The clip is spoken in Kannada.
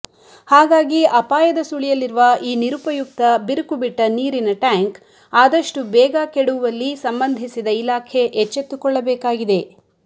ಹಾಗಾಗಿ ಅಪಾಯದ ಸುಳಿಯಲ್ಲಿರುವ ಈ ನಿರುಪಯುಕ್ತ ಬಿರುಕು ಬಿಟ್ಟ ನೀರಿನ ಟ್ಯಾಂಕ್ ಆದಷ್ಟು ಬೇಗ ಕೆಡವುವಲ್ಲಿ ಸಂಬಂದಿಸಿದ ಇಲಾಖೆ ಎಚ್ಚೆತ್ತುಕೊಳ್ಳಬೇಕಾಗಿದೆ